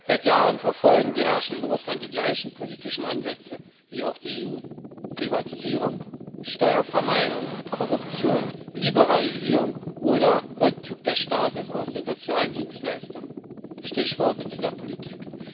Seit Jahren verfolgen die Herrschenden in Russland die gleichen politischen Ansätze wie auch die EU Privatisierung, Steuervermeidung, Korruption, Liberalisierung oder Rückzug des Staates aus den sozialen Dienstleistungen Stichworte dieser Politik.